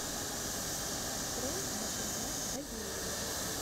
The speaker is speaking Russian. открой на тв доверие